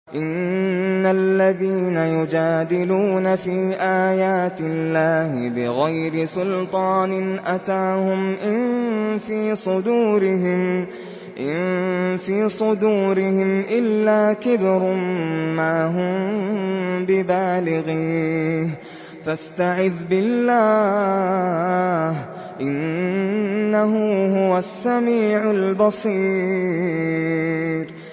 إِنَّ الَّذِينَ يُجَادِلُونَ فِي آيَاتِ اللَّهِ بِغَيْرِ سُلْطَانٍ أَتَاهُمْ ۙ إِن فِي صُدُورِهِمْ إِلَّا كِبْرٌ مَّا هُم بِبَالِغِيهِ ۚ فَاسْتَعِذْ بِاللَّهِ ۖ إِنَّهُ هُوَ السَّمِيعُ الْبَصِيرُ